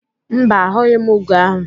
Mba, a hụghị m ugo ahụ